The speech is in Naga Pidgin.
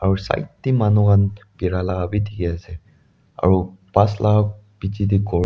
ru side tey manu khan bira la bi dikhi ase aro bus la pichey tey ghor.